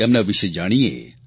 તેમના વિષે જાણીએ